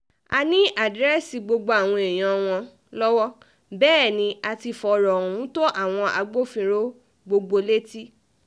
a ní àdírẹ́sì gbogbo àwọn èèyàn wọn lọ́wọ́ bẹ́ẹ̀ ni a ti fọ̀rọ̀ ohun tó àwọn agbófinró gbogbo létí